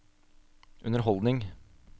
underholdning